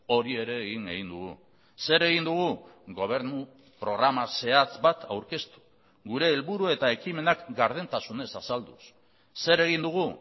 hori ere egin egin dugu zer egin dugu gobernu programa zehatz bat aurkeztu gure helburu eta ekimenak gardentasunez azalduz zer egin dugu